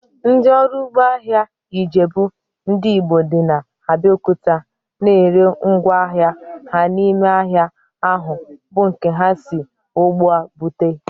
Ndị ọrụ ugbo ahịa Ijebu ndị Igbo dị na Abiokuta na ere ngwá ahịa ha n'ime ahịa ahu bụ nke ha si n'ugbo bute